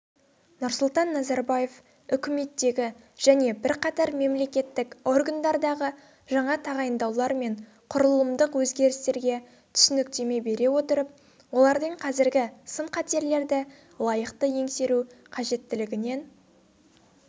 нұрсұлтан назарбаев үкіметтегі және бірқатар мемлекеттік органдардағы жаңа тағайындаулар мен құрылымдық өзгерістерге түсініктеме бере отырып олардың қазіргі сын-қатерлерді лайықты еңсеру қажеттілігінен